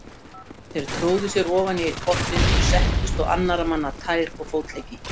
Þeir tróðu sér ofan í einn pottinn og settust á annarra manna tær og fótleggi.